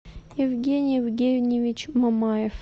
евгений евгеньевич мамаев